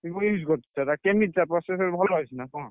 Vivo use କରୁଛ ସେଟା କେମିତି ତାର processor ଭଲ ଅଛି ନା କଣ?